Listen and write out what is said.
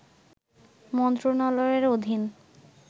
মন্ত্রণালয়ের অধীন